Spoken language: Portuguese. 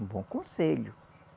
Um bom conselho.